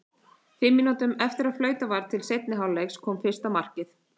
Fimm mínútum eftir að flautað var til seinni hálfleiks kom fyrsta markið.